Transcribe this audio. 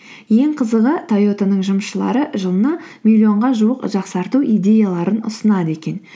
ең қызығы тойота ның жұмысшылары жылына миллионға жуық жақсарту идеяларын ұсынады екен